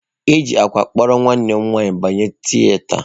E ji akwa kpụrụ nwanne m nwanyị banye tieata.